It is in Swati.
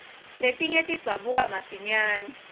letinye tidzabuka masinyare